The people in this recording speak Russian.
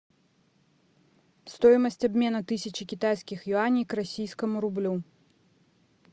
стоимость обмена тысячи китайских юаней к российскому рублю